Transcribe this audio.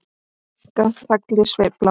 Brúnka tagli sveifla má.